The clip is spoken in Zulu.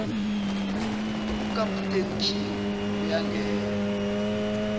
ukaputeni king uyangena